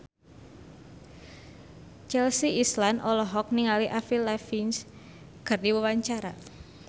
Chelsea Islan olohok ningali Avril Lavigne keur diwawancara